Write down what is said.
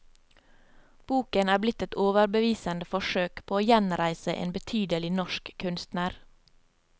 Boken er blitt et overbevisende forsøk på å gjenreise en betydelig norsk kunstner.